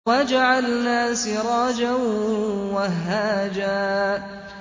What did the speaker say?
وَجَعَلْنَا سِرَاجًا وَهَّاجًا